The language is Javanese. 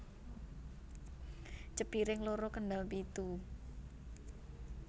Cepiring loro Kendal pitu